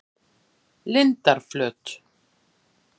Lindarflöt